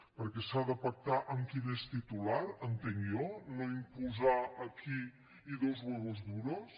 perquè s’ha de pactar amb qui n’és titular entenc jo no imposar aquí y dos huevos duros